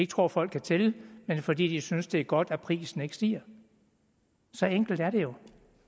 tror folk kan tælle men fordi de synes det er godt at prisen ikke stiger så enkelt er det jo